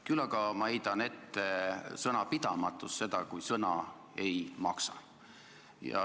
Küll aga heidan ma ette sõnapidamatust, seda, kui sõna ei maksa.